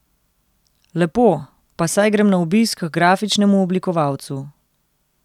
Lepo, pa saj grem na obisk h grafičnemu oblikovalcu.